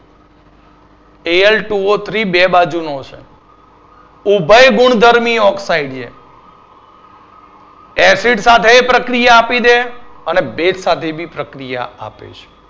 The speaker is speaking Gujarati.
AL two O three બે બાજુનો છે. ઉભય ગુણધર્મી oxide છે. Acide સાથે એ પ્રક્રિયા આપી દે અને ભેજ સાથે B પ્રક્રિયા આપી દે.